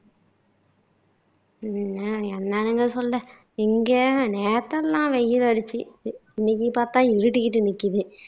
அஹ் என்னனுங்க சொல்ல, இங்க நேத்தெல்லாம் வெயில் அடிச்சுது இன்னைக்கு பாத்தா இருட்டிட்டு நிக்குது